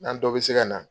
N'an dɔ bɛ se ka na